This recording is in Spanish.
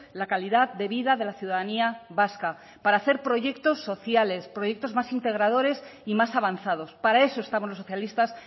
la calidad de vida de la ciudadanía vasca para hacer proyectos sociales proyectos más integradores y más avanzados para eso estamos los socialistas